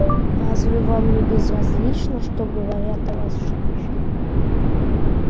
разве вам не безразлично что говорят о вас женщины